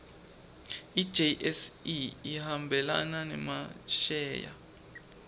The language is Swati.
ijse ihambelana nemasheya